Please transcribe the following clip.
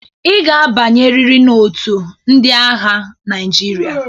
I ga-abnyeriri otu ndị agha Naịjirịa.